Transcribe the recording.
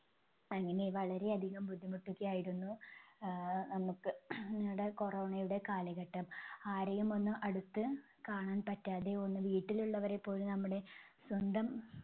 അങ്ങനെ വളരെ അധികം ബുദ്ധിമുട്ടൊക്കെ ആയിരുന്നു ആഹ് നമുക്ക് നമ്മുടെ corona യുടെ കാലഘട്ടം. ആരെയും ഒന്ന് അടുത്ത് കാണാൻ പറ്റാതെ ഒന്ന് വീട്ടിലുള്ളവരെ പോലും നമ്മുടെ സ്വന്തം